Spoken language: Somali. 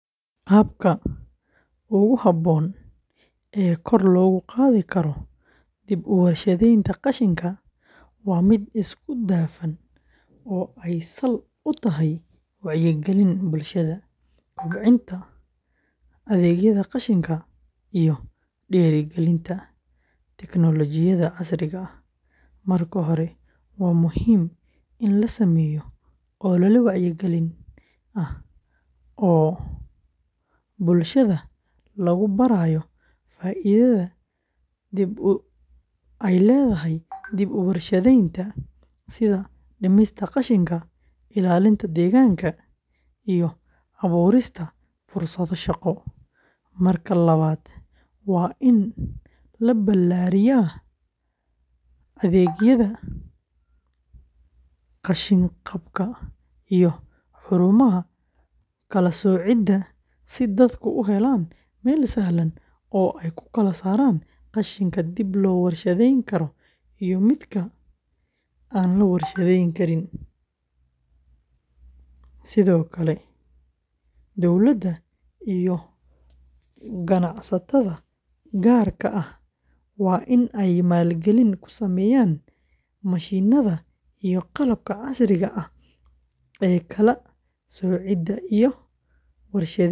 Habka ugu habboon ee kor loogu qaadi karo dib u warshadaynta qashinka waa mid isku dhafan oo ay sal u tahay wacyigelin bulshada, kobcinta adeegyada qashinka, iyo dhiirrigelinta tignoolajiyadda casriga ah. Marka hore, waa muhiim in la sameeyo olole wacyigelin ah oo bulshada lagu barayo faa’iidada dib u warshadaynta, sida dhimista qashinka, ilaalinta deegaanka, iyo abuurista fursado shaqo. Marka labaad, waa in la ballaariyaa adeegyada qashin-qaadka iyo xarumaha kala soocidda si dadku u helaan meel sahlan oo ay ku kala saaraan qashinka dib loo warshadayn karo iyo midka aan la warshadayn karin. Sidoo kale, dowladda iyo ganacsatada gaarka ah waa in ay maalgelin ku sameeyaan mashiinnada iyo qalabka casriga ah ee kala soocidda iyo warshadaynta qashinka.